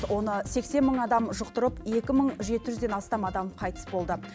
оны сексен мың адам жұқтырып екі мың жеті жүзден астам қайтыс болды